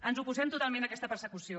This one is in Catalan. ens oposem totalment a aquesta persecució